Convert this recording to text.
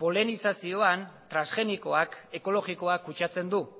polenizazioan transgenikoak ekologikoa kutsatzen du